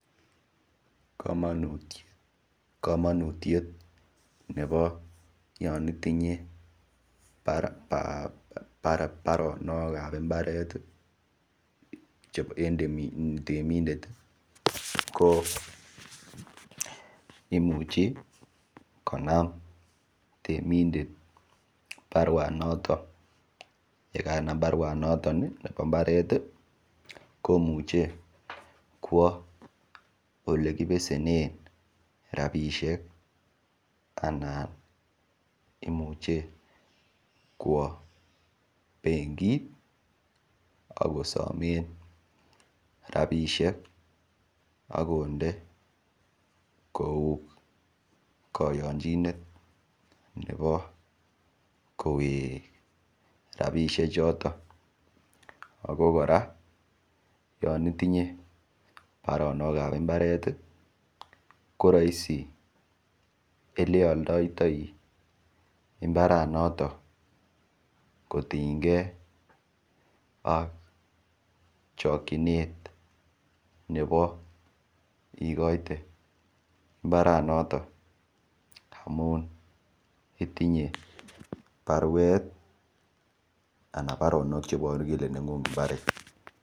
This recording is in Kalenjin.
Komonutiet nebo yonitinye baronok ap mbaret temindet ko imuchi konam temindet baruanoto bo mbaret komuchei kwo ole kibesenen rapishek anan imuche kwo benkit akosomen rapishek akonde kou koyonchinet nebo kowek ropisiek choton ako kora yon itinye baronok ap mbaret koraisi oleialdoitoi imbaranoton kotienkei ak chokchinet nebo ikoite mbaranoton amun itinye baruet ana baronok cheiboru kole neng'ung mbaret.